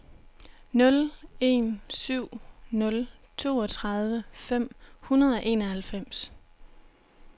nul en syv nul toogtredive fem hundrede og enoghalvfems